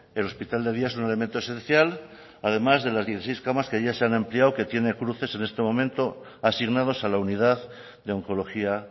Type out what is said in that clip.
el hospital de día es un elemento esencial además de las dieciséis camas que ahí se han ampliado que tiene cruces en este momento asignados a la unidad de oncología